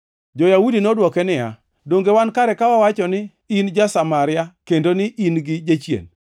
Jo-Yahudi nodwoke niya, “Donge wan kare ka wawacho ni in ja-Samaria kendo ni in gi jachien?”